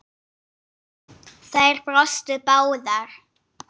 Þær brostu báðar.